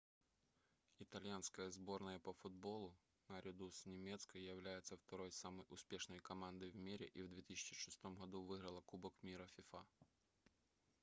итальянская сборная по футболу наряду с немецкой является второй самой успешной командой в мире и в 2006 году выиграла кубок мира фифа